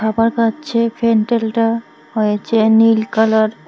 আমার কাছে প্যান্ডেলটা হয়েছে নীল কালার ।